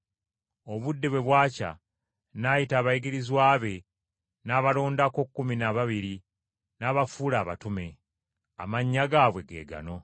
Obudde bwe bwakya, n’ayita abayigirizwa be n’abalondako kkumi n’ababiri, n’abafuula abatume. Amannya gaabwe ge gano: